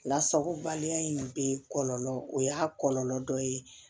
Lasagobaliya in bɛ kɔlɔlɔ o y'a kɔlɔlɔ dɔ ye